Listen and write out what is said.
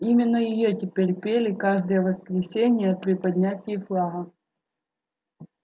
именно её теперь пели каждое воскресенье при поднятии флага